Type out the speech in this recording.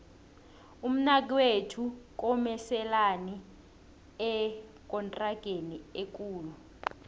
umnakwethu komeselani ekontrageni ekulu